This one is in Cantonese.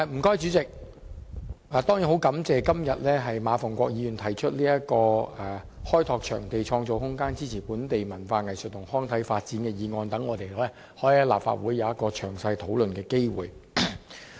我十分感謝馬逢國議員今天提出"開拓場地，創造空間，支持本地文化藝術及康體發展"的議案，好讓我們可以在立法會有一個詳細討論的機會。